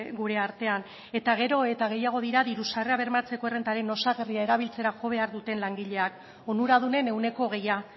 gure artean eta gero eta gehiago dira diru sarrerak bermatzeko errentaren osagarria erabiltzera jo behar duten langileak onuradunen ehuneko hogeia